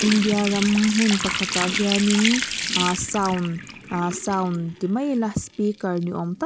india ram hmun pakhatah hianin ahh sound ah sound ti mai ila speaker ni awm tak --